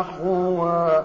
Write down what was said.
أَحْوَىٰ